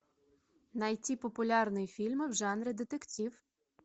найти популярные фильмы в жанре детектив